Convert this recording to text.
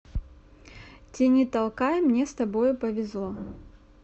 тяни толкай мне с тобою повезло